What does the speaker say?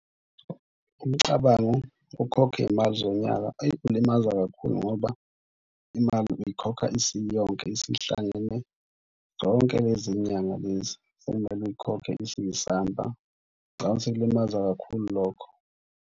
Umcabango ukhokhe imali zonyaka eyi ulimaza kakhulu ngoba imali uyikhokha isiyonke isihlangene. Zonke lezi nyanga lezi sekumele uyikhokhe isiyisamba. Ngicabanga ukuthi kulimaza kakhulu lokho.